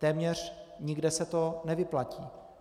Téměř nikde se to nevyplatí.